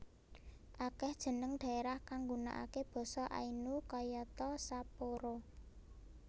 Akèh jeneng dhaerah kang nggunakaké basa Ainu kayata Sapporo